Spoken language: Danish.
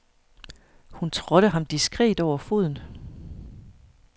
Hun trådte ham diskret over foden.